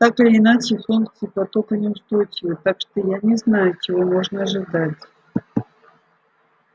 так или иначе функции потока неустойчивы так что я не знаю чего можно ожидать